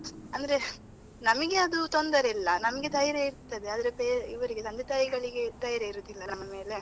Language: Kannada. ಅಂದ್ರೆ ನಮಗೆ ಅದು ತೊಂದರೆ ಇಲ್ಲ. ನಮ್ಗೆ ಧೈರ್ಯ ಇರ್ತದೆ, ಆದ್ರೆ ಇವರಿಗೆ ತಂದೆ ತಾಯಿಗಳಿಗೆ ಧೈರ್ಯ ಇರುದಿಲ್ಲ ನಮ್ಮ ಮೇಲೆ.